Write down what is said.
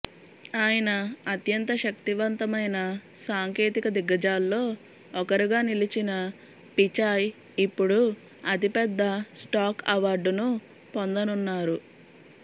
ఆయన అత్యంత శక్తివంతమైన సాంకేతిక దిగ్గజాల్లో ఒకరుగా నిలిచిన పిచాయ్ ఇపుడు అతిపెద్ద స్టాక్ అవార్డును పొందనున్నారు